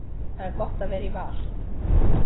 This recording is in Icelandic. Það er gott að vera í Val.